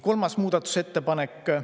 Kolmas muudatusettepanek.